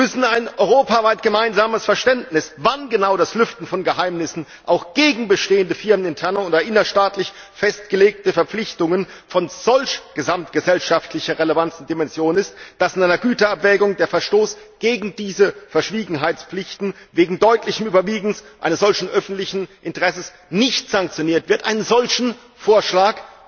Sie müssen ein europaweit gemeinsames Verständnis dafür schaffen, wann genau das Lüften von Geheimnissen auch gegen bestehende firmeninterne oder innerstaatlich festgelegte Verpflichtungen von solcher gesamtgesellschaftlicher Relevanz und Dimension ist, dass in einer Güteabwägung der Verstoß gegen diese Verschwiegenheitspflichten wegen des deutlichen Überwiegens eines solchen öffentlichen Interesses nicht sanktioniert wird. Einen solchen Vorschlag